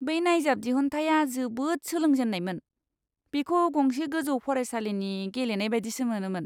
बै नायजाब दिहुनथाया जोबोद सोलोंजेन्नायमोन। बेखौ गंसे गोजौ फरायसालिनि गेलेनाय बायदिसो मोनोमोन।